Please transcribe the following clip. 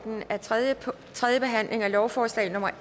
lovforslaget